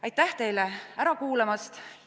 Aitäh teile ära kuulamast!